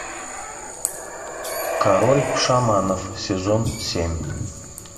король шаманов сезон семь